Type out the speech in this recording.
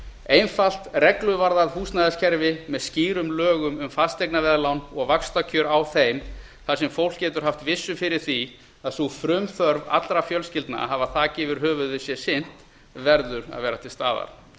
einfalt regluvarðað húsnæðiskerfi með skýrum lögum um fasteignaveðlán og vaxtakjör á þeim þar sem fólk getur haft vissu fyrir því að sú frumþörf allra fjölskyldna að hafa þak yfir höfuðið sé sinnt verður að vera til staðar